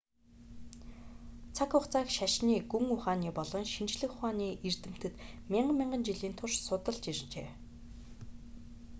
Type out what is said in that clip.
цаг хугацааг шашны гүн ухааны болон шинжлэх ухааны эрдэмтэд мянга мянган жилийн турш судалж иржээ